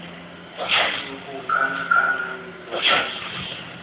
khudugo kana kanamiso kwa ntle